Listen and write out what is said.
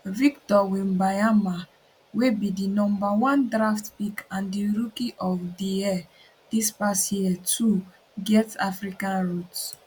victor wembanyama wey be di number one draft pick and di rookie of di year dis past year too get african roots